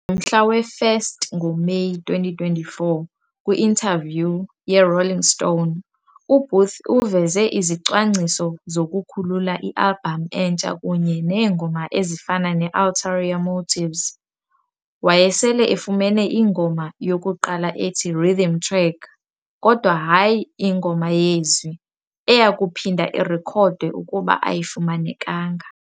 Ngomhla we-1 ngoMeyi 2024, kwi-interview "ye-Rolling Stone", uBooth uveze izicwangciso zokukhulula i-albhamu entsha kunye neengoma ezifana ne "Ulterior Motives", wayesele efumene ingoma yokuqala ethi "rhythm track" kodwa hayi ingoma yezwi, eya kuphinda irekhodwe ukuba ayifumanekanga.